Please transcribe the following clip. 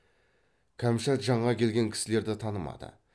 кәмшат жаңа келген кісілерді танымады